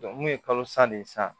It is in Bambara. mun ye kalo san de san